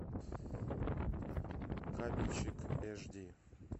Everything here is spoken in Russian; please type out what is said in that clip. кабельщик эш ди